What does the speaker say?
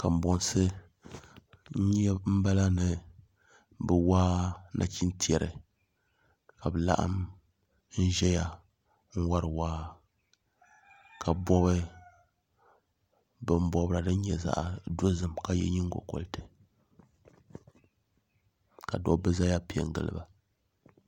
Kanbonsi n bala ni bi waa nachin tiɛri ka bi laɣam n ʒɛya n wori waa ka bobi bin bobira din nyɛ zaɣ dozim ka yɛ nyingokoriti ka dabba ʒɛya piɛ n giliba